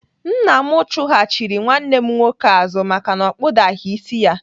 Nna m chụghachiri nwanne m nwoke azụ maka na o kpudaghị isi ya.